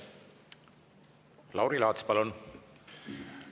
Lauri Laats, palun!